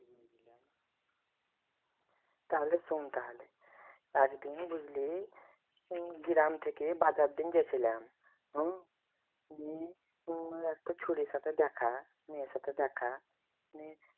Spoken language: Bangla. তাহলে শোন তাহলে একদিন বুঝলি গ্রাম থেকে বাজার দিন গেছিলাম হম দি উম একটা ছুরির সাথে দেখা একটা চুরির সাথে দেখা। মেয়ের সাথে দেখা নিয়ে